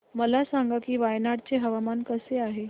मला सांगा की वायनाड चे हवामान कसे आहे